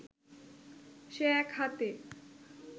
সে এক হাতে